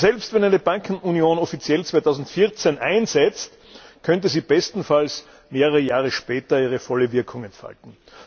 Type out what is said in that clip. Also selbst wenn eine Bankenunion offiziell 2014 einsetzt, könnte sie bestenfalls mehrere Jahre später ihre volle Wirkung entfalten.